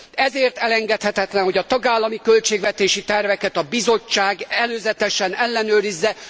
Ezért elengedhetetlen, hogy a tagállami költségvetési terveket a Bizottság előzetesen ellenőrizze.